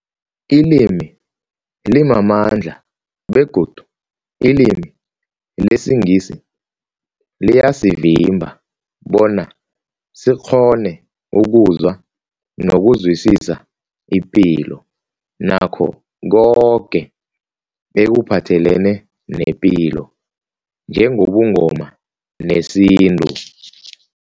Ilimi limamandla begodu ilimi lesiNgisi liyasivimba bona sikghone ukuzwa nokuzwisisa ipilo nakho koke ekuphathelene nepilo njengobuNgoma nesintu.